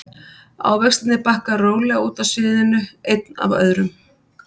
Ávextirnir bakka rólega út af sviðinu einn af öðrum.